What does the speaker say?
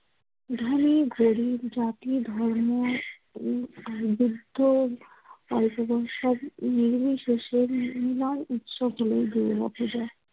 ধনী, গরিব, জাতি, ধর্ম উম আর বৃদ্ধ, অল্প বয়সের নির্বিশেষের মিলার উৎস যায়।